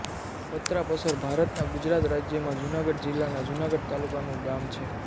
પત્રાપસર ભારતનાં ગુજરાતરાજ્યમાં જુનાગઢ જિલ્લાનાં જુનાગઢ તાલુકાનું ગામ છે